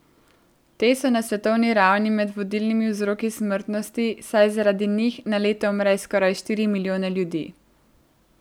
Te so na svetovni ravni med vodilnimi vzroki smrtnosti, saj zaradi njih na leto umre skoraj štiri milijone ljudi.